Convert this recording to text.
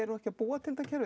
ekki að búa til þetta kerfi